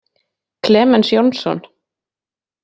Klemens Jónsson.